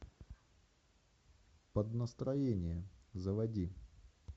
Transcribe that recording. под настроение заводи